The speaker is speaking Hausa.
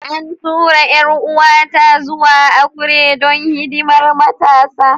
An tura 'yar'uwata zuwa Akure don hidimar Matasa.